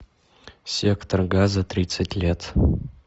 сектор газа тридцать лет